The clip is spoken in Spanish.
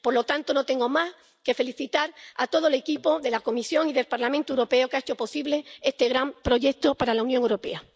Por lo tanto, no tengo más que felicitar a todo el equipo de la Comisión y del Parlamento Europeo que ha hecho posible este gran proyecto para la Unión Europea.